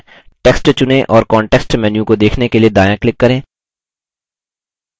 text चुनें और context menu को देखने के लिए दायाँclick करें